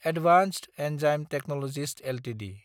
advanced enzyme technologies Ltd